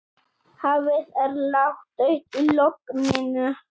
Hafið er ládautt í logninu.